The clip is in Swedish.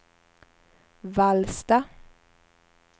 Vallsta